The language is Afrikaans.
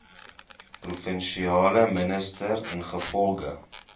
provinsiale minister ingevolge